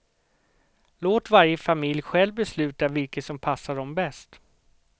Låt varje familj själv besluta vilket som passar dem bäst.